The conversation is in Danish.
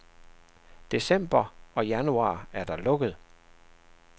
December og januar er der lukket.